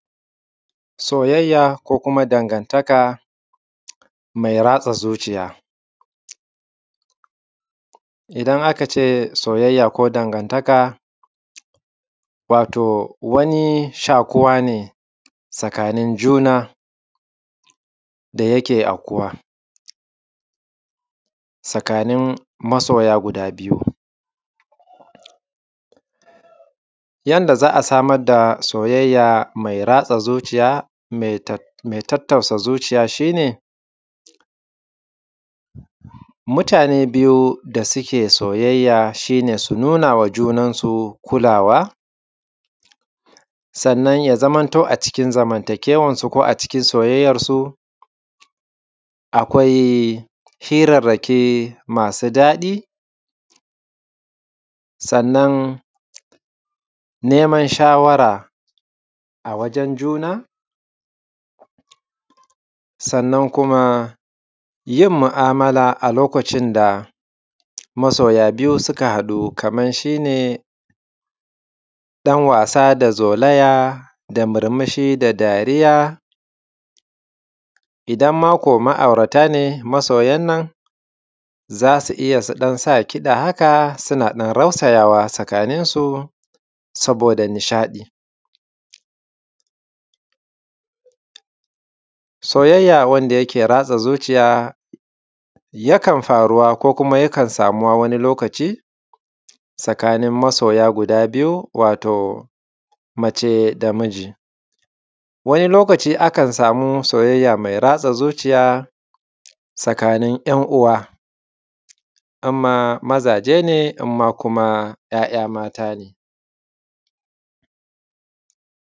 Soyayaa ko kuma dangantaka me ratsa zuciya, idan aka ce soyayya ko dangantaka wato wani shaƙuwa ne tsakanin juna da yake ankuwa tsakanin masoya guda biyu. Yanda za a samar da soyayya me ratsa zuciya me tattausa zuciya shi ne, mutane biyu da suke soyayya shi ne su nuna ma junansu kulawa sannan ya zaman to a cikin zamantakewan su a cikin soyayyan su akwai hirarraki masu daɗi, sannan neman shawara a wajen juna sannan kuma yin mu’amala a lokacin da masoya biyu suka haɗu, kaman shi ne ɗanwasa da zolaya da murumushi da dariya, idan ma ko ma’aurata ne masoyan nan za su iya su sa ƙiɗa suna ɗan rausayawa tsakaninsu saboda nishaɗi. Soyayya wanda yake ratsa zuciya yakan faruwa ko kuma yakan samuwa lokaci tsakanin masoya guda biyu wato mace da miji wani lokaci akan samu soyayya me ratsa zuciya tsakanin ‘yan’uwa in ma maza ne, in man ‘ya’ya mata ne.